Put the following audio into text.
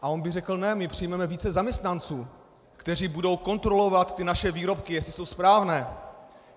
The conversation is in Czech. A on by řekl ne, my přijmeme více zaměstnanců, kteří budou kontrolovat ty naše výrobky, jestli jsou správné.